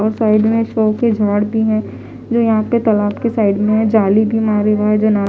और साइड में शो के झाड़ भी है जो यहाँ पे तलाब के साइड में है जाली भी हमारे वहाँ है जना --